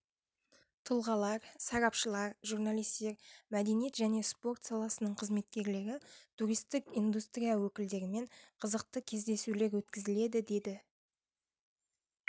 тұлғалар сарапшылар журналистер мәдениет және спорт саласының қызметкерлері туристік индустрия өкілдерімен қызықты кездесулер өткізіледі деді